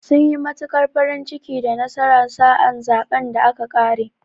Sun yi matuƙar farin ciki da nasarar sa a zaɓen da aka ƙare.